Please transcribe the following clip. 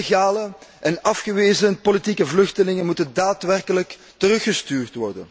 Illegale en afgewezen politieke vluchtelingen moeten daadwerkelijk worden teruggestuurd.